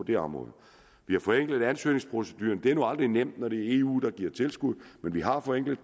det område vi har forenklet ansøgningsproceduren det er nu aldrig nemt når det er eu der giver tilskud men vi har forenklet